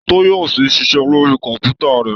Tọ́yọ̀sí ń ṣiṣẹ́ lórí kọ̀m̀pútà rẹ̀.